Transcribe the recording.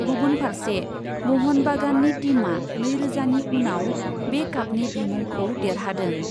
गुबुन फार्से म'हन बागाननि टीमआ नैरोजानि उनाव बे कापनि बिमुंखौ देरहादों।